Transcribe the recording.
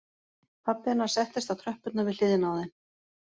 Pabbi hennar settist á tröppurnar við hliðina á þeim